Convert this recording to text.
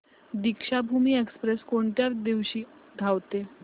Deekshabhoomi express कोणत्या दिवशी धावते